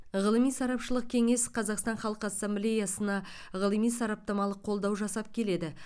ғылыми сарапшылық кеңес қазақстан халқы ассамблеясына ғылыми сараптамалық қолдау жасап келеді